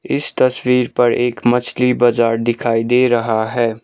इस तस्वीर पर एक मछली बाजार दिखाई दे रहा है।